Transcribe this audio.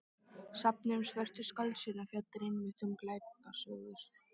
Safnið um Svörtu skáldsöguna fjallar einmitt um glæpasögur.